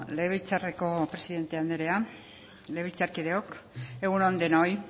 legebiltzarreko presidente anderea legebiltzarkideok egun on denoi